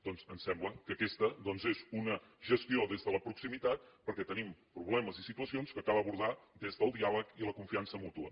doncs em sembla que aquesta és una gestió des de la proximitat perquè tenim problemes i situacions que cal abordar des del diàleg i la confiança mútua